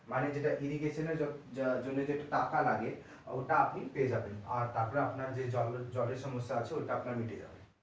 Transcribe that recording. মানে irrigation এর জন্য যে টাকা লাগে ওটা আপনি পেয়ে যাবেন আর তারপরে আপনার যে জলের সমস্যা আছে ওটাও মিটে যাবে।